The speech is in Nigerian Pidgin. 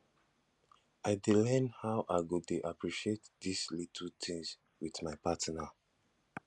i dey learn how i go dey appreciate dese little tins wit my partner